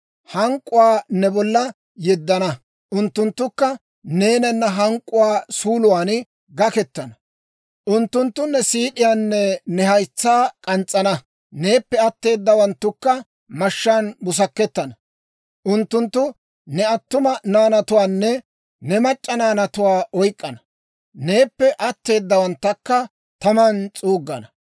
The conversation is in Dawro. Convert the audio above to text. Hank'k'uwaa ne bolla yeddana; unttunttukka neenana hank'k'uwaa suuluwaan gakkettana. Unttunttu ne siid'iyaanne ne haytsaa k'ans's'ana; neeppe atteedawanttukka mashshaan busakettana. Unttunttu ne attuma naanatuwaanne ne mac'c'a naanatuwaa oyk'k'ana; neeppe atteedawanttakka taman s'uuggana.